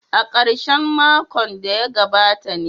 A karshen makon da ya gabata ne.